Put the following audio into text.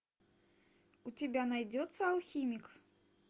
у тебя найдется алхимик